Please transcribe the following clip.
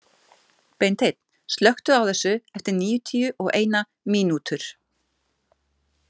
Beinteinn, slökktu á þessu eftir níutíu og eina mínútur.